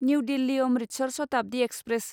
new Delhi Amritsar Shatabdi express